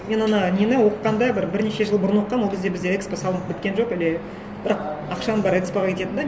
мен ана нені оқығанда бір бірнеше жыл бұрын оқығанмын ол кезде бізде экспо салынып біткен жоқ әлі бірақ ақшаның бәрі экспо ға кететін де